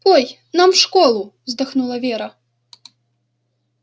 ой нам в школу вздохнула вера